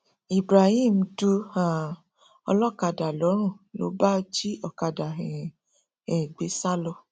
ibrahim du um ọlọkadà lọrùn ló bá jí ọkadà um ẹ gbé sá lọ